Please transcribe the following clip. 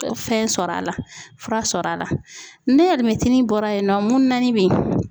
Fɛn sɔrɔ a la fura sɔrɔla ni alimɛtinin bɔra yen nɔ mununanin bɛ ye.